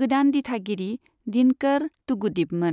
गोदान दिथागिरि दिनकर तूगुदीपमोन।